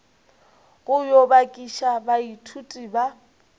go yo bakiša baithuti ba